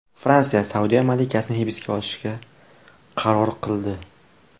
Fransiya Saudiya malikasini hibsga olishga qaror qildi.